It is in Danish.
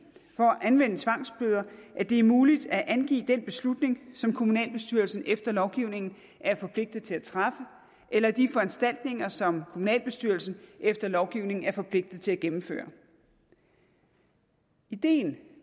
for at anvende tvangsbøder at det er muligt at angive den beslutning som kommunalbestyrelsen efter lovgivningen er forpligtet til at træffe eller de foranstaltninger som kommunalbestyrelsen efter lovgivningen er forpligtet til at gennemføre ideen